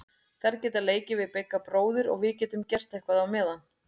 Þær geta leikið við Bigga bróður og við getum gert eitthvað á meðan.